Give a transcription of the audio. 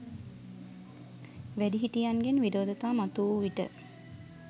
වැඩිහිටියන්ගෙන් විරෝධතා මතුවූ විට,